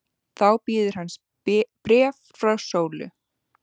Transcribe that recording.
Þá bíður hans bréf frá Sólu.